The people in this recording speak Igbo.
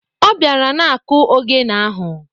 Ọ bịara na-akụ ogene ahụ.